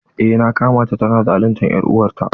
Eh na kama ta tana zaluntar er'uwar ta.